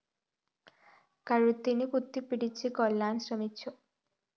് കഴുത്തിന് കുത്തിപ്പിടിച്ച് കൊല്ലാന്‍ ശ്രമിച്ചു